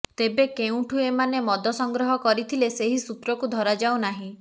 ତେବେ କେଉଁଠୁ ଏମାନେ ମଦ ସଂଗ୍ରହ କରିଥିଲେ ସେହି ସୂତ୍ରକୁ ଧରାଯାଉ ନାହିଁ